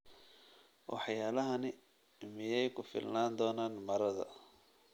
Waxyaabahani miyay ku filnaan doonaan marada?